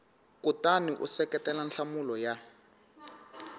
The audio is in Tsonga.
kutani u seketela nhlamulo ya